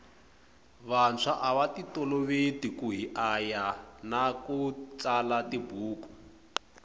vanswa avatitoloveki kuhiaya nakutsala tibhuku